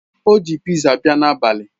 O ji piza bia n'abali